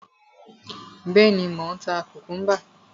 Bẹ́ẹ̀ni, mò ń ta kùkúḿbà.